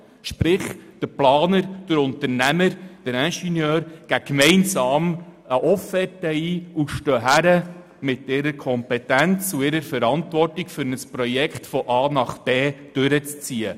Das heisst, der Planer, der Unternehmer und der Ingenieur geben eine gemeinsame Offerte ein und stehen mit ihrer Kompetenz und Verantwortung hin, um ein Projekt von A bis Z durchzuziehen.